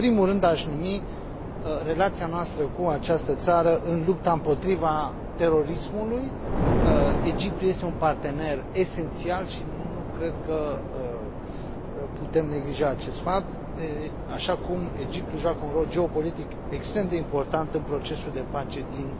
Și, în primul rând, aș numi relația noastră cu această țară în lupta împotriva terorismului Egiptul este un partener esențial și nu cred că putem neglija acest fapt, așa cum Egiptul joacă un rol geopolitic extrem de important în procesul de pace din